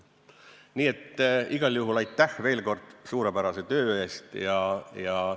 Nii et igal juhul veel kord aitäh suurepärase töö eest!